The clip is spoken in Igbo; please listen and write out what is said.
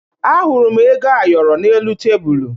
Ahụrụ m ego ayọrọ n'elu tebulu